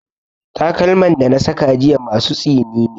Takalman da na saka jiya masu tsini ne.